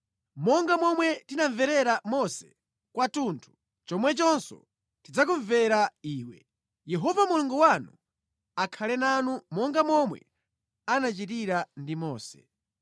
Monga momwe tinamvera Mose kwathunthu, chomwechonso tidzakumvera iwe. Yehova Mulungu wanu akhale nanu monga momwe anachitira ndi Mose.